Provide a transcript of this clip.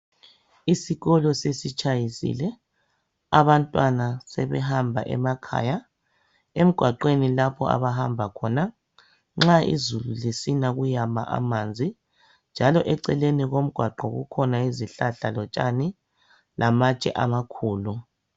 Isikolo sesitshayisile abantwana sebehamba emakhaya. emgwaqweni lapho abahamba khona ,nxa izulu lisina kuyama amanzi .Njalo eceleni komgwaqo kukhona izihlahla lotshani lamatshe amakhulu.